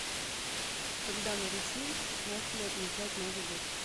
когда на руси начали отмечать новый год